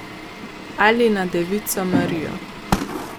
Ali na devico Marijo.